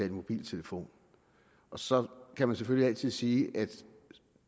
i mobiltelefon og så kan man selvfølgelig altid sige at